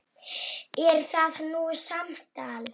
Er það nú samtal!